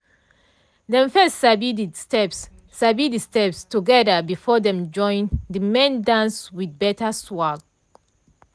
dem first sabi de steps sabi de steps together before dem join de main dance with better swag.